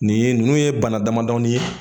Nin ye ninnu ye bana damadɔni ye